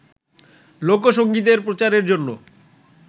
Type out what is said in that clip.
লোকসংগীতের প্রচারের জন্য